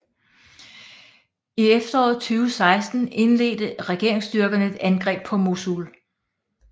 I efteråret 2016 indledte regeringsstyrkerne et angreb på Mosul